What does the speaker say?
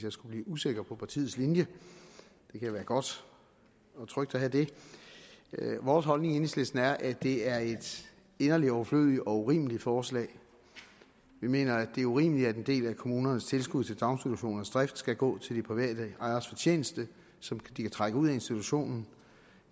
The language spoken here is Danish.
jeg skulle blive usikker på partiets linje det kan være godt og trygt at have det vores holdning i enhedslisten er at det er et inderligt overflødigt og urimeligt forslag vi mener at det er urimeligt at en del af kommunernes tilskud til daginstitutionernes drift skal gå til de private ejeres fortjeneste som de kan trække ud af institutionen